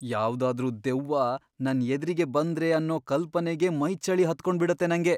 ಯಾವ್ದಾದ್ರೂ ದೆವ್ವ ನನ್ ಎದ್ರಿಗೆ ಬಂದ್ರೆ ಅನ್ನೋ ಕಲ್ಪನೆಗೇ ಮೈಚಳಿ ಹತ್ಕೊಂಬಿಡತ್ತೆ ನಂಗೆ.